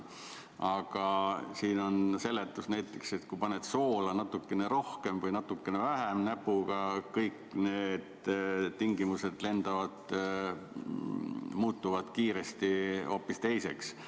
Aga siin on seletus, et näiteks kui paned soola natuke rohkem või natuke vähem näpuga, kõik need tingimused muutuvad kiiresti hoopis teiseks.